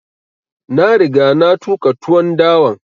Na riga na tuƙa tuwon dawan